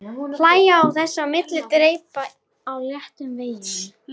Hlæja þess á milli og dreypa á léttum veigum.